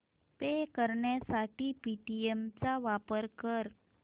पे करण्यासाठी पेटीएम चा वापर कर